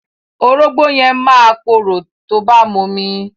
Orógbó yẹn máa korò tó bá momi.